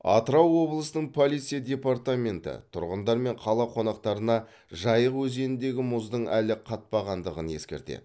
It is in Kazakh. атырау облысының полиция департаменті тұрғындар мен қала қонақтарына жайық өзеніндегі мұздың әлі қатпағандығын ескертеді